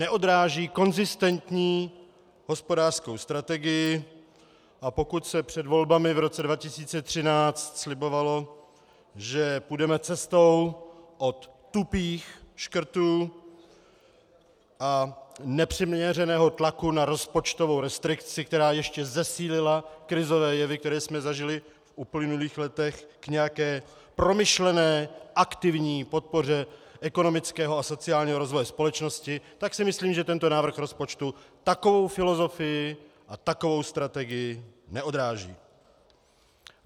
Neodráží konzistentní hospodářskou strategii, a pokud se před volbami v roce 2013 slibovalo, že půjdeme cestou od tupých škrtů a nepřiměřeného tlaku na rozpočtovou restrikci, která ještě zesílila krizové jevy, které jsme zažili v uplynulých letech, k nějaké promyšlené aktivní podpoře ekonomického a sociálního rozvoje společnosti, tak si myslím, že tento návrh rozpočtu takovou filozofii a takovou strategii neodráží.